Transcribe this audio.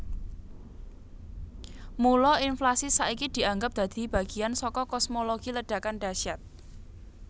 Mula inflasi saiki dianggap dadi bagian saka kosmologi Ledakan Dahsyat